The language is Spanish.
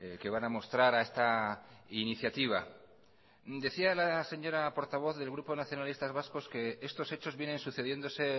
que van a mostrar a esta iniciativa decía la señora portavoz del grupo nacionalistas vascos que estos hechos vienen sucediéndose